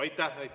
Aitäh!